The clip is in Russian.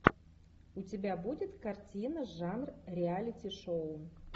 у тебя будет картина жанр реалити шоу